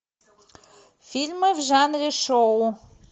фильмы в жанре шоу